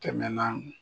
Tɛmɛnaa